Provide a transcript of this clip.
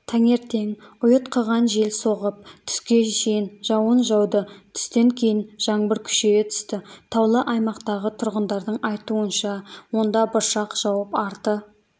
таңертең ұйытқыған жел соғып түске шейін жауын жауды түстен кейін жаңбыр күшейе түсті таулы аймақтағы тұрғындарының айтуынша онда бұршақ жауып арты